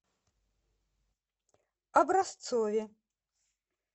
образцове